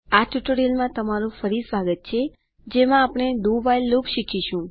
આ ટ્યુટોરીયલમાં તમારું ફરી સ્વાગત છે જેમાં આપણે do વ્હાઇલ લૂપ શીખીશું